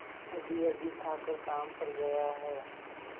अभीअभी खाकर काम पर गया है